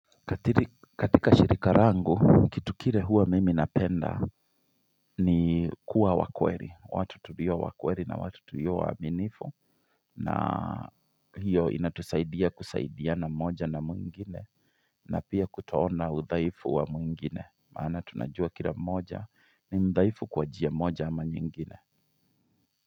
Katika shirika rangu, kitu kire huwa mimi napenda ni kuwa wakweri, watu tulio wakweri na watu tulio waminifu na hiyo inatusaidia kusaidiana moja na mwingine na pia kutoona udhaifu wa mwingine maana tunajua kila moja ni mudhaifu kwa njia moja ama nyingine.